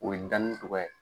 O ye danni cogoya ye.